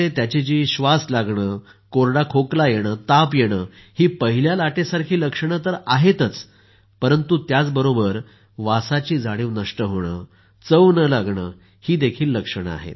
त्याची जी श्वास लागणं कोरडा खोकला येणं ताप येणं ही पहिल्या लाटेसारखी लक्षणं तर आहेतच परंतु त्याबरोबर वासाची जाणिव नष्ट होणं चव न लागणं हीही आहेत